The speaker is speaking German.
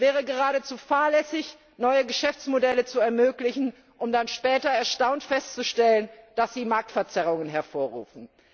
Es wäre geradezu fahrlässig, neue Geschäftsmodelle zu ermöglichen, um dann später erstaunt festzustellen, dass sie Marktverzerrungen hervorrufen.